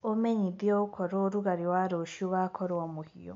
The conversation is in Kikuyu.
umenyĩthĩe okorwo ũrũgarĩ wa rũcĩũ ugakorwo muhiu